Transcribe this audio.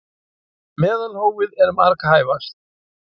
Meðalhófið er marghæfast.